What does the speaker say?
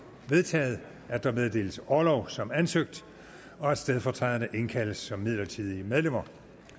vedtaget at der meddeles orlov som ansøgt og at stedfortræderne indkaldes som midlertidige medlemmer